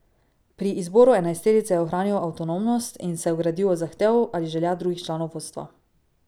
Pri izboru enajsterice je ohranil avtonomnost in se ogradil od zahtev ali želja drugih članov vodstva.